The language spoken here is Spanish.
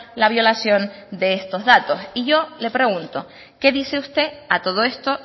la violación de estos datos y yo le pregunto qué dice usted a todo esto